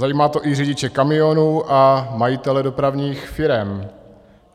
Zajímá to i řidiče kamionů a majitele dopravních firem.